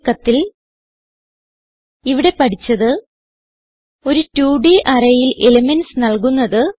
ചുരുക്കത്തിൽ ഇവിടെ പഠിച്ചത് ഒരു 2ഡ് arrayൽ എലിമെന്റ്സ് നല്കുന്നത്